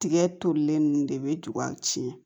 Tigɛ tolilen ninnu de bɛ a tiɲɛ